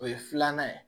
O ye filanan ye